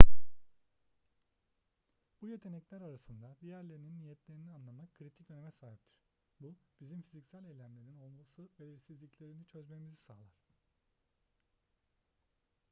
bu yetenekler arasında diğerlerinin niyetlerini anlamak kritik öneme sahiptir bu bizim fiziksel eylemlerin olası belirsizliklerini çözmemizi sağlar